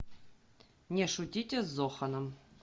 не шутите с зоханом